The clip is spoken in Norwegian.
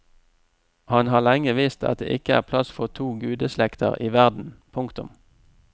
Han har lenge visst at det ikke er plass for to gudeslekter i verden. punktum